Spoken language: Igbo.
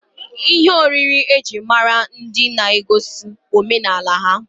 Ihe oriri ejiri mara ndi na-egosi omenala ha.